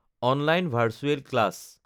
online virtual class